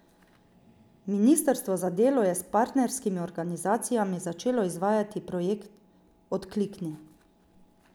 Ministrstvo za delo je s partnerskimi organizacijami začelo izvajati projekt Odklikni!